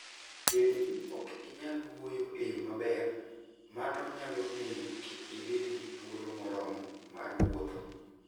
Bedo ni ok inyal wuoyo e yo maber, mano nyalo miyo kik ibed gi thuolo moromo mar wuotho.